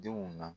Denw na